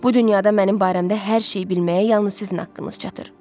Bu dünyada mənim barəmdə hər şeyi bilməyə yalnız sizin haqqınız çatır.